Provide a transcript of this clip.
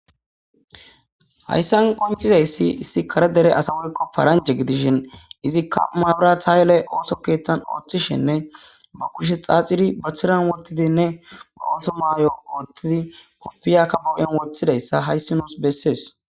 hayssan qoncizayssi issi kare dere asa woyqo paranjhe gidishin izikka maabira thaayele ooso keeththan ooththishenne ba kushe xaaxiri bathiran wottidinne aooso maayo koottidi koppiyakka bawu7en woththidayssa hayssi nuus bessees